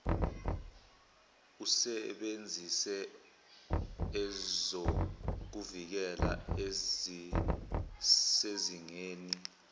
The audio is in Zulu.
usebenzise ezokuvikela ezisezingeni